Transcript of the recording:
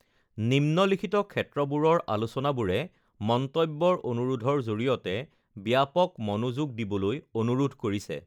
নিম্নলিখিত ক্ষেত্ৰবোৰৰ আলোচনাবোৰে মন্তব্যৰ অনুৰোধৰ জৰিয়তে ব্যাপক মনোযোগ দিবলৈ অনুৰোধ কৰিছে: